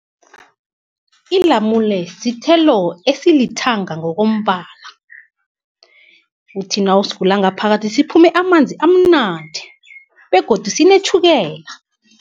Ilamule sithelo esilithanga ngokombala, uthi nawusivula ngaphakathi ziphume amanzi amnandi, begodi sinetjhukela.